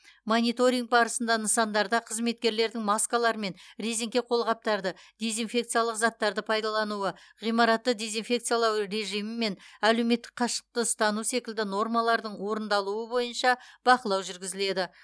мониторинг барысында нысандарда қызметкерлердің маскалар мен резеңке қолғаптарды дезинфекциялық заттарды пайдалануы ғимаратты дезинфекциялау режимі мен әлеуметтік қашықтықты ұстану секілді нормалардың орындалуы бойынша бақылау жүргізіледі